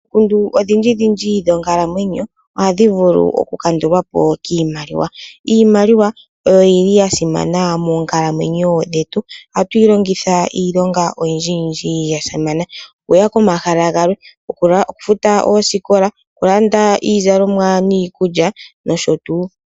Omikundu odhindji dhindji dhonkalamwenyo ohadhi vulu oku kandulwapo kiimaliwa. Iimaliwa oyili ya simana moonkalamwenyo dhetu. Ohatu yi longitha iilonga oyindji yindji yasimana. Okuya komahala galwe, oku futa oosikola okulanda iizalomwa niikulya nosho tuu.